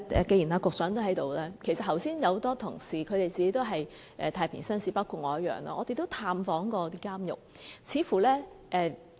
既然局長也在席......其實有很多同事本身也是太平紳士，包括我自己，我們也曾探訪監獄。